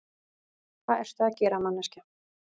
Hvað ertu að gera, manneskja?